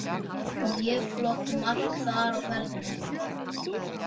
Mjög flott mark þar á ferðinni.